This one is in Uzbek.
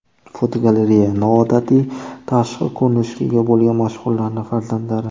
Fotogalereya: Noodatiy tashqi ko‘rinishga ega bo‘lgan mashhurlarning farzandlari.